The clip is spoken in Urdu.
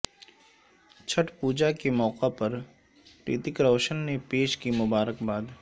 چھٹھ پوجا کے موقع پر رتیک روشن نے پیش کی مبارکباد